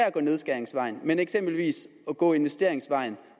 at gå nedskæringsvejen men eksempelvis gå investeringsvejen